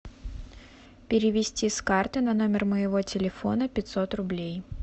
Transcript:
перевести с карты на номер моего телефона пятьсот рублей